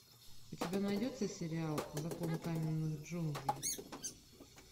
у тебя найдется сериал закон каменных джунглей